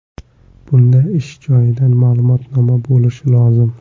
Bunda ish joyidan ma’lumotnoma bo‘lishi lozim.